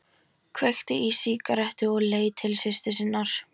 Kveikti sér í sígarettu og leit til systur sinnar.